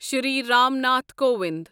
Shri Ram Nath Kovind